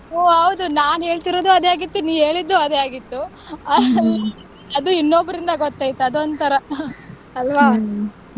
ಹು ಹೌದು ನಾನ್ ಹೇಳ್ತಿದ್ದು ಅದೇ ಹಾಗಿತ್ತು ನೀನ್ ಹೇಳ್ತಿದ್ದು ಅದೇ ಹಾಗಿತ್ತು ಅದು ಇನ್ನೊಬ್ಬರಿಂದ ಗೊತ್ತಾಯ್ತು ಅದು ಒಂಥರಾ ಅಲ್ವಾ.